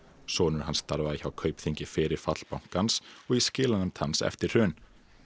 sonur hans starfaði hjá Kaupþingi fyrir fall bankans og í skilanefnd hans eftir hrun